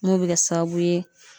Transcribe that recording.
N'o be kɛ sababu ye